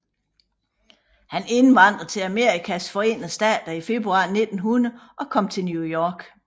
Han indvandrede til Amerikas forenede stater i februar 1900 og kom til New York